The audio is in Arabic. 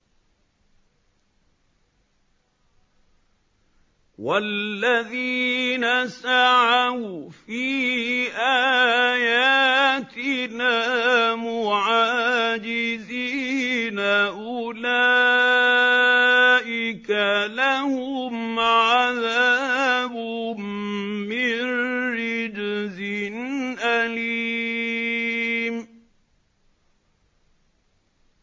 وَالَّذِينَ سَعَوْا فِي آيَاتِنَا مُعَاجِزِينَ أُولَٰئِكَ لَهُمْ عَذَابٌ مِّن رِّجْزٍ أَلِيمٌ